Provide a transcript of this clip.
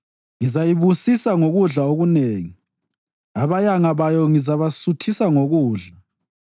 ngizayibusisa ngokudla okunengi; abayanga bayo ngizabasuthisa ngokudla.